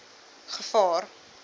gevaar